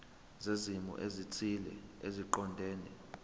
zezimo ezithile eziqondene